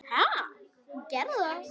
Ha, gerðu það.